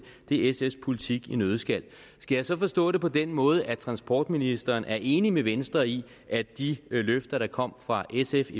er sfs politik i en nøddeskal skal jeg så forstå det på den måde at transportministeren er enig med venstre i at de løfter der kom fra sfs